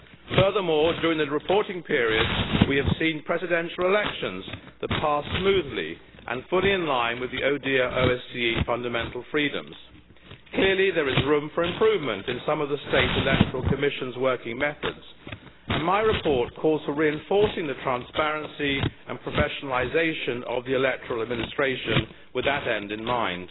Furthermore, during the reporting period, we have seen presidential elections that passed smoothly and fully in line with the ODIHR OSCE fundamental freedoms. Clearly there is room for improvement in some of the state electoral commission's working methods, and my report calls for reinforcing the transparency and professionalisation of the electoral administration with that end in mind.